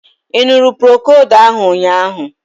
Ị ṅụrụ Procold ahu ụnyaahụ?